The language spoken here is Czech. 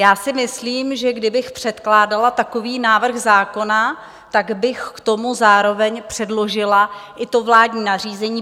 Já si myslím, že kdybych předkládala takový návrh zákona, tak bych k tomu zároveň předložila i to vládní nařízení.